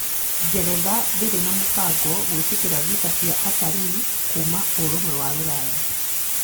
Ngeretha ndĩrĩ na mũbango gwĩtĩkĩra visa cia atarii Kuma ũrumwe wa Rũraya